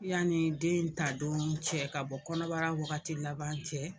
Yanni den ta don cɛ ka bɔ kɔnɔbara wagati laban cɛ.